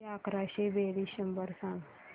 किती अकराशे बेरीज शंभर सांग